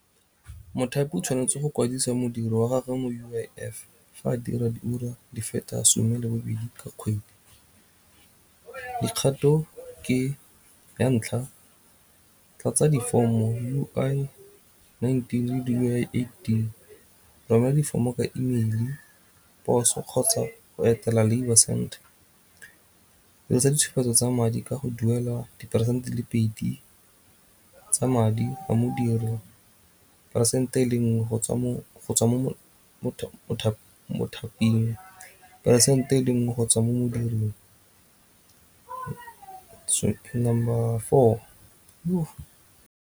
Mothapi o tshwanetse go kwadisa modiri wa gagwe mo U_I_F fa a dira di ura di feta some le bobedi ka kgwedi. Dikgato ke ya ntlha, tlatsa di fomo U_I nineteen le U_I eighteen romela difomo ka email, poso kgotsa go etela labour centre. Ntsha ditshupetso tsa madi ka go duelwa diperesente di le pedi tsa madi a modiri peresente e le nngwe go tswa mo mothaping peresente e le nngwe go tswa mo modiring. number four .